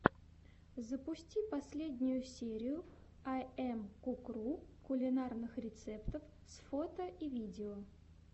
запусти последнюю серию айэмкукру кулинарных рецептов с фото и видео